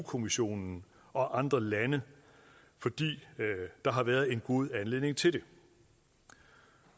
kommissionen og andre lande fordi der har været en god anledning til det